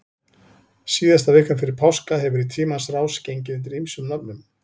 Síðasta vikan fyrir páska hefur í tímans rás gengið undir ýmsum nöfnum.